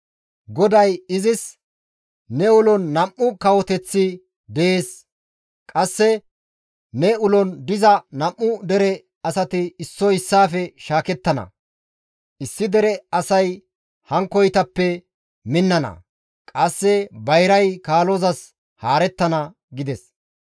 GODAY izis, «Ne ulon nam7u kawoteththi dees; qasse ne ulon diza nam7u dere asati issoy issaafe shaakettana; issi dere asay hankkoytappe minnana; qasse bayray kaalozas haarettana» gides.